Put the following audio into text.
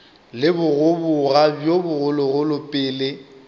le bogoboga bjo bogologolo pele